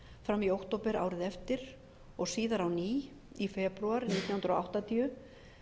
fram í október árið eftir og síðar á ný í febrúar nítján hundruð áttatíu